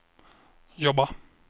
jobba